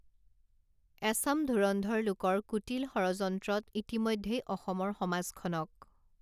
এচাম ধুৰন্ধৰ লোকৰ কুটিল ষড়যন্ত্ৰত ইতিমধ্যেই অসমৰ সমাজখনক